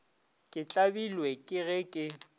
ke tlabilwe ke ge ke